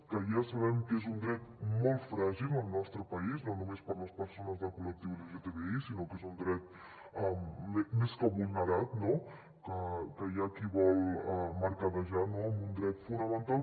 que ja sabem que és un dret molt fràgil al nostre país no només per a les persones del col·lectiu lgtbi sinó que és un dret més que vulnerat no que hi ha qui vol mercadejar amb un dret fonamental